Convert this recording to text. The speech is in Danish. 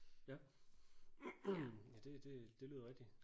Ja ja det det det lyder rigtigt